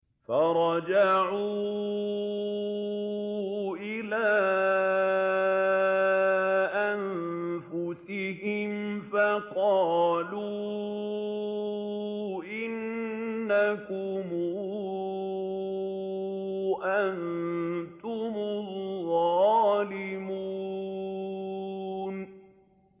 فَرَجَعُوا إِلَىٰ أَنفُسِهِمْ فَقَالُوا إِنَّكُمْ أَنتُمُ الظَّالِمُونَ